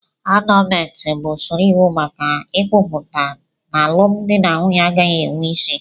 Anọọlmentị bụ usoro iwu maka ikwuputa n'alụmdi na nwunye agaghị enwe isi.